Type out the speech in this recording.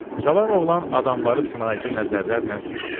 Cavan oğlan adamları sınayıcı nəzərlərlə süzdü.